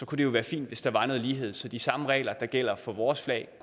kunne det jo være fint hvis der var noget lighed så de samme regler der gælder for vores flag